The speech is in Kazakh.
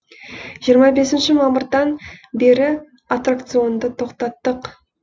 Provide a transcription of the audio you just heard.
жиырма бесінші мамырдан бері аттракционды тоқтаттық